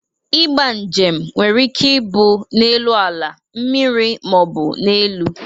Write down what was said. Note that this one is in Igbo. Ịgba njem nwere ike ibụ n'elu ala, mmiri ma ọ bụ n'elu.